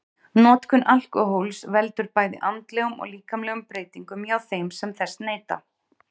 notkun alkóhóls veldur bæði andlegum og líkamlegum breytingum hjá þeim sem þess neyta